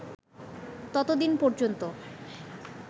ততদিন পর্যন্ত